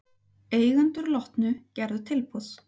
Eigendur Lotnu gerðu tilboð